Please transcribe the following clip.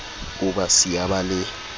o ba siya ba le